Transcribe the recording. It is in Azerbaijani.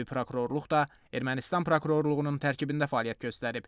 Hərbi prokurorluq da Ermənistan prokurorluğunun tərkibində fəaliyyət göstərib.